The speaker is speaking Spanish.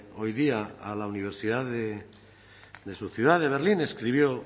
hoy día a la universidad de su ciudad de berlín escribió